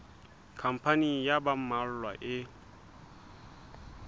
khampani ya ba mmalwa e